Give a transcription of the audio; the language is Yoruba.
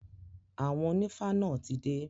Àwọn onífá náà ti dé.